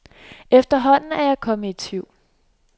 Efterhånden er jeg kommet i tvivl.